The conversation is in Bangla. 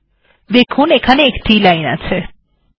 আপনি দেখতে পাচ্ছেন এখানে একটি মাত্র লাইন আছে